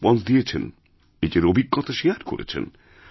রেসপন্সদিয়েছেন নিজের অভিজ্ঞতা শেয়ার করেছেন